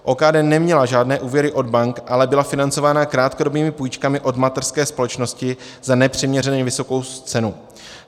OKD neměla žádné úvěry od bank, ale byla financována krátkodobými půjčkami od mateřské společnosti za nepřiměřeně vysokou cenu.